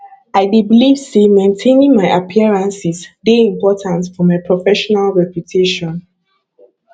i dey believe say maintaining my appearances dey important for my professional reputation